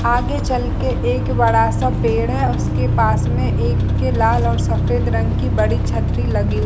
आगे चलके एक बड़ा सा पेड़ है उसके पास में एक लाल और सफ़ेद रंग की एक बड़ी सी छतरी लगी। --